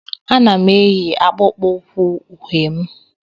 Ana m eyi akpụkpọ ụkwụ uhie m